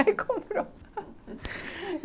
Aí comprou.